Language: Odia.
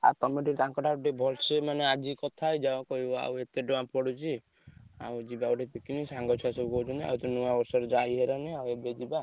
ଆଉ ତମେ ଟିକେ ତାଙ୍କ ଠାରୁ ଭଲସେ ମାନେ ଆଜି କଥା ହେଇଯାଅ ଆଉ କହିବ ଏତେ ଟଙ୍କା ପଡୁଛି ଆଉ ଯିବା ସବୁ picnic ଆଉ ସାଙ୍ଗ ଛୁଆ କହୁଛନ୍ତି ଆଉ ତ ନୂଆବର୍ଷ ରେ ଯାଇ ହବନି ଏବେ ଯିବା।